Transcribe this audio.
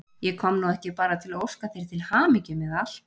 Ég kom nú ekki bara til að óska þér til hamingju með allt.